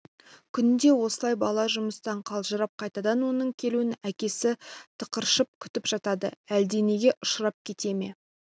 күнде осылай бала жұмыстан қалжырап қайтады оның келуін әкесі тықыршып күтіп жатады әлденеге ұшырап кете ме